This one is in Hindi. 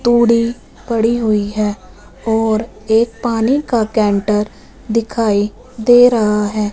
तोड़ी पड़ी हुईं हैं और एक पानी का कैंटर दिखाइ दे रहा हैं।